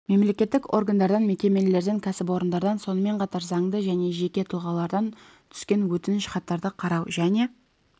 мемлекеттік органдардан мекемелерден кәсіпорындардан сонымен қатар заңды және жеке тұлғалардан түскен өтініш хаттарды қарау және